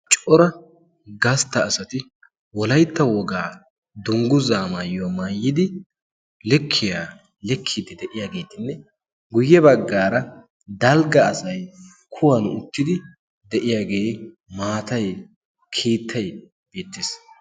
Cora gastta asati wolaitta wogaa dunggu zaamaayyo maayyidi lekkiya lekkidi de'iyaageetinne guyye baggaara dalgga asai kuwan uttidi de'iyaagee maatay kiittay beettees.